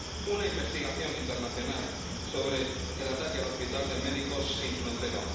Es necesaria una investigación internacional sobre el ataque al hospital de Médicos Sin Fronteras.